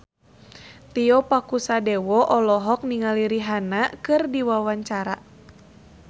Tio Pakusadewo olohok ningali Rihanna keur diwawancara